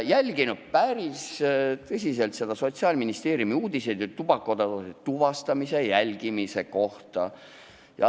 Ma olen päris tõsiselt jälginud Sotsiaalministeeriumi uudiseid tubakatoodete tuvastamise ja jälgimise kohta.